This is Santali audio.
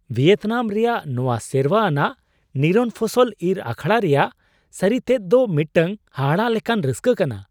ᱵᱷᱤᱭᱮᱛᱱᱟᱢ ᱨᱮᱭᱟᱜ ᱱᱚᱶᱟ ᱥᱮᱨᱣᱟ ᱟᱱᱟᱜ ᱱᱤᱨᱚᱱ ᱯᱷᱚᱥᱚᱞ ᱤᱨ ᱟᱠᱷᱲᱟ ᱨᱮᱭᱟᱜ ᱥᱟᱹᱨᱤᱛᱮᱫ ᱫᱚ ᱢᱤᱫᱴᱟᱝ ᱦᱟᱦᱟᱲᱟᱜ ᱞᱮᱠᱟᱱ ᱨᱟᱹᱥᱠᱟᱹ ᱠᱟᱱᱟ ᱾